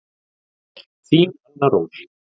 Þín Anna Rós.